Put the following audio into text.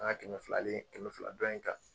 An ka kɛmɛ filalen kɛmɛ fila dɔn in kan